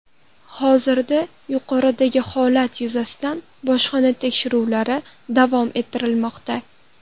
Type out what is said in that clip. Hozirda yuqoridagi holat yuzasidan bojxona tekshiruvlari davom ettirilmoqda.